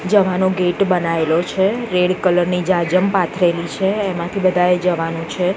જવાનો ગેટ બનાયેલો છે રેડ કલર ની જાજમ પાથરેલી છે એમાથી બધાએ જવાનુ છે.